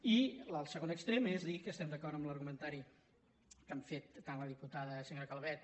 i el segon extrem és dir que estem d’acord amb l’argu·mentari que han fet tant la diputada senyora calvet